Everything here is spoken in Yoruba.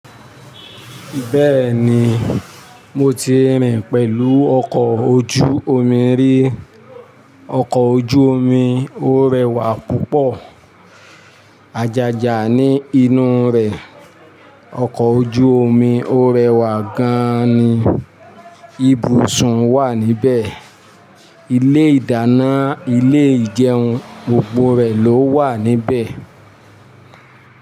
Bẹ́ẹ̀ni, mo ti rìn pẹ̀lú ọkọ̀ ojú omi rí. Ọkọ̀ ojú omi ó rẹwà púpọ̀, àjàjà ni inú rè, ọkọ̀ ojú omi ó rẹwà gan-an ni, ibùsùn wà níbẹ̀, ilé ìdáná, ilé ìjẹun, gbogbo rẹ̀ ló wà níbẹ̀